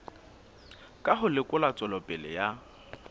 ka ho lekola tswelopele ya